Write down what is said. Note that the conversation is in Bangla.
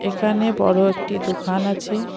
এখানে বড় একটি দোকান আছে।